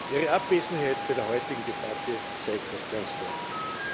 Ihre Abwesenheit bei der heutigen Debatte zeigt das ganz deutlich.